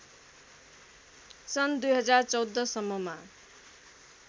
सन् २०१४ सम्ममा